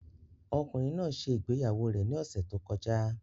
Ọkùnrin náà ṣe ìgbéyàwó rẹ̀ ní ọ̀sẹ̀ tó kọjá